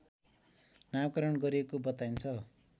नामाकरण गरिएको बताइन्छ